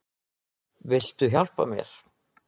Viltu hjálpa mér?